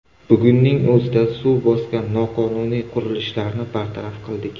Bugunning o‘zida suv bosgan noqonuniy qurilishlarni bartaraf qildik.